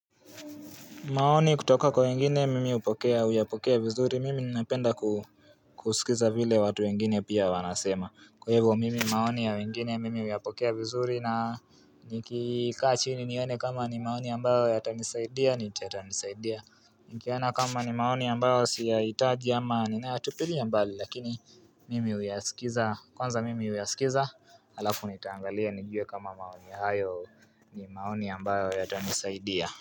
Maoni kutoka kwa wengine mimi upokea, uyapokea vizuri, mimi ninapenda ku kusikiza vile watu wengine pia wanasema Kwa hivo mimi maoni ya wengine, mimi uyapokea vizuri na nikikaa chini nione kama ni maoni ambayo yata nisaidia, nita yata nisaidia Niki ana kama ni maoni ambayo siya itaji ama ninayaatupiliya mbali lakini mimi uyasikiza, kwanza mimi uyasikiza, halafu nitaangalia nijue kama maoni hayo ni maoni ambayo yata nisaidia.